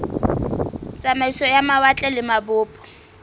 tsamaiso ya mawatle le mabopo